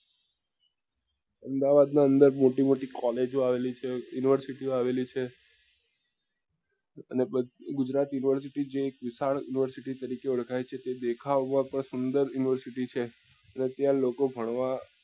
અમદાવાદ ની અંદર મોટી મોટી collage ઓ આવેલી છે university ઓ આવેલી છે અને બધા ગુજરાત university જે એક વિશાલ university તરીકે ઓળખાય છે એ દેખાવ માં તો સુંદર university છે ને ત્યાં લોકો ભણવા